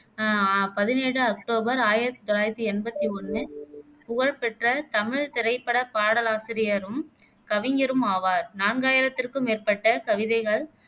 அஹ் அஹ் பதினேழு அக்டோபர் ஆயிரத்தி தொள்ளாயிரத்தி எம்பத்தி ஒண்ணு புகழ் பெற்ற தமிழ் திரைப்பட பாடலாசிரியரும் கவிஞரும் ஆவார் நான்காயிரத்திற்கும் மேற்பட்ட கவிதைகள்